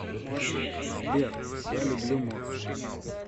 сбер я люблю морс